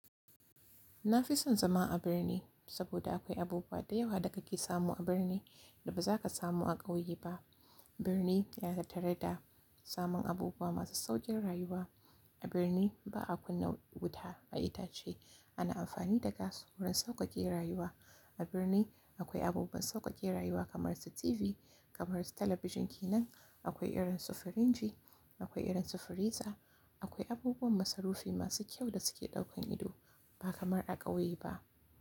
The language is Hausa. Na fi son zama a birni saboda akwai abubuwa da yawa da kake samu a birni da ba za ka samu a ƙauye ba. Birni yana tattare da samun abubuwa masu sauƙin rayuwa. A birni ba a kunna wuta a itace ana amfani da gas wurin sauƙaƙe rayuwa. A birni akwai abubuwan sauƙaƙe rayuwa kamar su TV, kamar su talabijin kenan, akwai irin su firinji, akwai irin su firiza. Akwai abubuwan masarufi masu kyau da suke ɗaukan ido ba kamar a ƙauye ba.